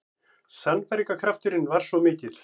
Sannfæringarkrafturinn var svo mikill.